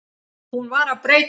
Hún var að breytast.